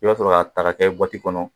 I y'a sɔrɔ a ta ka kɛ kɔnɔ